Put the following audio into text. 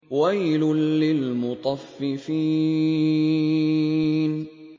وَيْلٌ لِّلْمُطَفِّفِينَ